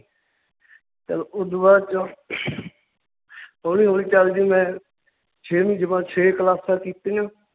ਚੱਲ ਓਦੂ ਬਾਅਦ ਚ ਹੌਲੀ ਹੌਲੀ ਚੱਲ ਜੀ ਮੈਂ ਛੇਵੀਂ ਜਮਾ~ ਛੇ ਕਲਾਸਾਂ ਕੀਤੀਆਂ l